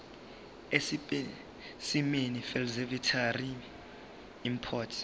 esipesimeni seveterinary import